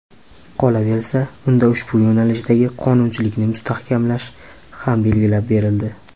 Qolaversa, unda ushbu yo‘nalishdagi qonunchilikni mustahkamlash ham belgilab berildi.